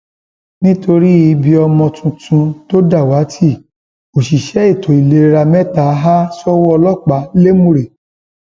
nítorí ibi ọmọ tuntun tó dàwátì òṣìṣẹ ètò ìlera mẹta há sọwọ ọlọpàá lẹmúrẹ